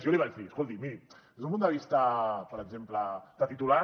jo li vaig dir escolti miri des d’un punt de vista per exemple de titular